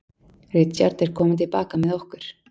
Richard er kominn til baka með okkur.